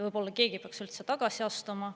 Võib-olla keegi peaks üldse tagasi astuma.